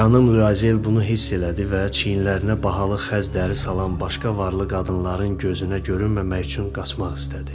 Xanım Lüazel bunu hiss elədi və çiynlərinə bahalı xəz dəri salan başqa varlı qadınların gözünə görünməmək üçün qaçmaq istədi.